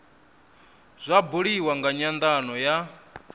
zwa buliwa nga nyandano ya